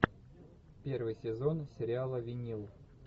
первый сезон сериала винил